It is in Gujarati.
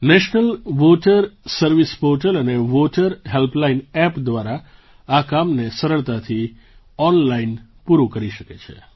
નેશનલ વોટર સર્વિસ પોર્ટલ અને વોટર હેલ્પલાઇનના એપ દ્વારા આ કામને સરળતાથી ઑનલાઇન પૂરું કરી શકે છે